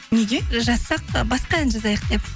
неге жазсақ басқа ән жазайық деп